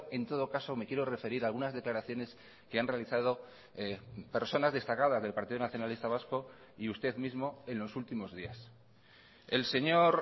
en todo caso me quiero referir a algunas declaraciones que han realizado personas destacadas del partido nacionalista vasco y usted mismo en los últimos días el señor